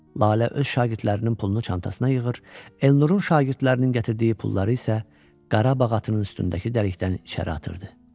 Lalə öz şagirdlərinin pulunu çantasına yığır, Elnurun şagirdlərinin gətirdiyi pulları isə Qarabağ atının üstündəki dəlikdən içəri atırdı.